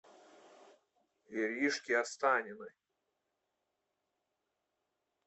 иришке останиной